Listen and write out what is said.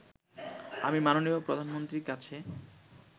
আমি মাননীয় প্রধানমন্ত্রীর কাছে